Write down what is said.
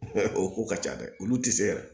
O ko ka ca dɛ olu tɛ se yɛrɛ